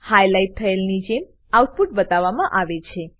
highlight થયેલની જેમ output બતાવામાં આવે છે